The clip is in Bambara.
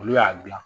Olu y'a gilan